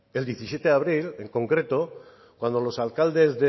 el diecisiete de abril en concreto cuando los alcaldes